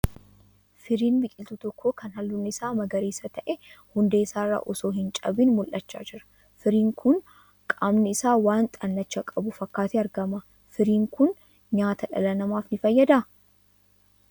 Firiin biqiltuu tokkoo kan halluun isaa magariisa ta'e hundee isaa irra osoo hin cabiin mul'achaa jira. Firiin kun qaamni isaa waan xannacha qabu fakkaatee argama. Firiin kun nyaata dhala namaaf ni fayyadaa?